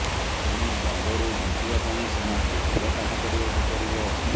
ତେଣୁ ଦଣ୍ଡରୁ ବଞ୍ଚିବା ପାଇଁ ସେମାନଙ୍କୁ ଭଲ କାମ କରିବାକୁ ପଡ଼ିବ